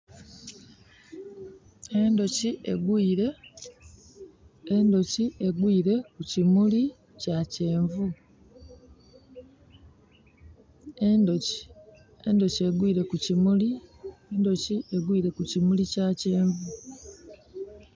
Endhuki egwire, endhuki egwire kukyimuli kyakyenvu. Endhuki endhuki egwire kukyimuli, endhuki egwire kukyimuli kyakyenvu.